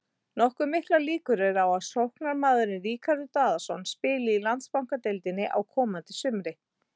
Nokkuð miklar líkur eru á að sóknarmaðurinn Ríkharður Daðason spili í Landsbankadeildinni á komandi sumri.